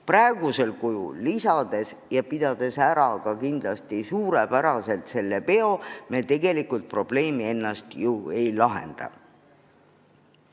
Praegusel kujul raha juurde andes ja pidades kindlasti selle peo suurepäraselt ära, me tegelikult probleemi ennast ei lahenda.